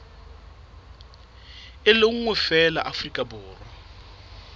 le nngwe feela afrika borwa